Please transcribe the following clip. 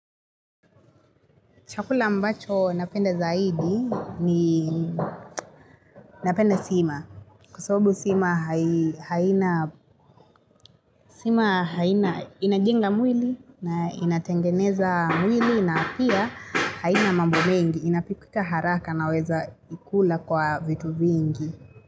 Chakula ambacho napenda zaidi ni napenda sima. Kwa sababu sima inajenga mwili na inatengeneza mwili na pia haina mambo mengi. Inapikika haraka naweza ikula kwa vitu vingi.